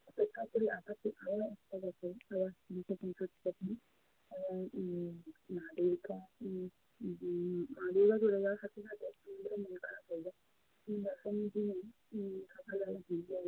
অপেক্ষা করি এবং উম মা দুর্গা উম উম মা দুর্গা চলে যাওয়ার সাথে সাথে আমাদেরও মন খারাপ হয়ে যায়। দশমীর দিনই উম সকালবেলা